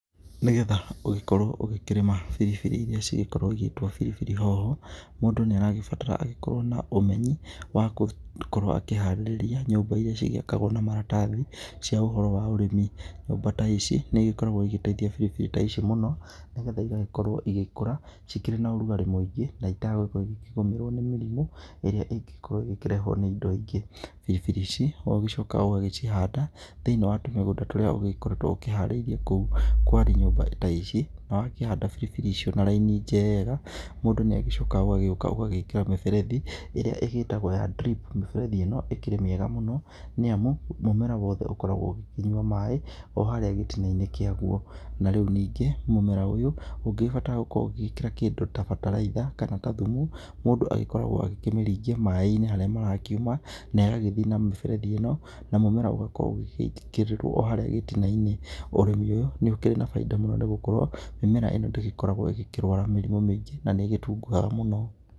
Nĩgetha ũgĩkorwo ũgĩkĩrĩma biribiri irĩa cigĩkoragwo igĩtwo biribiri hoho, mũndũ nĩ aragĩbatara agĩkorwo na ũmenyi wa gũkorwo akĩharĩrĩa nyũmba rĩa cigĩakagwo na maratathi cia ũhoro wa ũrĩmi. Nyũmba ta ici nĩ igĩkoragwo igĩteithia biribiri ta ici mũno, nĩgetha igagĩkorwo igĩkũra ci kĩrĩ na ũrugarĩ mũingĩ na itagũkorwo ikĩgũmĩrwo nĩ mĩrimũ ĩrĩa ĩngĩgĩkorwo ĩgĩkĩrehwo nĩ indo ingĩ. Biribiri ici no ũgĩcokaga ũgagĩcihanda thĩiniĩ wa tũmĩgũnda tũrĩa ũgĩkoretwo ũkĩharĩirie kũu kwarĩ nyũmba ta ici, na wakĩhanda biribiri icio na raini njega, mũndũ nĩ agĩcokaga ũgagĩuka ũgagĩkĩra mĩberethi ĩrĩa ĩgĩtagwo ya drip. Mĩberethi ĩno ĩkĩrĩ mĩega mũno nĩ amu, mũmera wothe ũkoragwo ũgĩkĩnyua maaĩ o harĩa gĩtina-inĩ kĩaguo. Na rĩu ningĩ mũmera ũyũ ũngĩgĩbatara gũkorwo ũgĩgĩkĩra kĩndũ ta bataraitha, kana ta thumu, mũndũ agĩkoragwo agĩkĩmĩringia maaĩ-inĩ harĩa marakiuma na ĩgagĩthiĩ na mĩberethi ĩno, na mũmera ũgakorwo ũgĩgĩitĩkĩrĩrwo o harĩa gĩtina-inĩ. Ũrĩmi ũyũ nĩ ũkĩrĩ na bainda mũno, nĩ gũkorwo mĩmera ĩno ndĩgĩkoragwo ĩgĩkĩrwara mĩrimũ mĩingĩ na nĩ ĩgĩtunguha mũno.